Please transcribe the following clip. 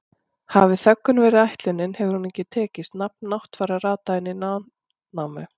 Hafi þöggun verið ætlunin hefur hún ekki tekist, nafn Náttfara rataði inn í Landnámu.